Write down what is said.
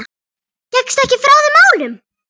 Gekkstu ekki frá þeim málum?